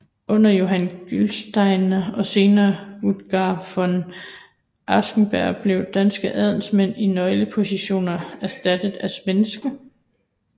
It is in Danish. Under Johan Gyllenstierna og senere Rutger von Aschenberg blev danske adelsmænd i nøglepositioner erstattet af svenske